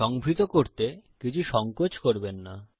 সংভৃত করতে কিছু সংকোচ করবেন না